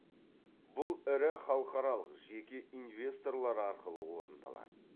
бұл ірі халықаралық жеке инвесторлар арқылы орындалады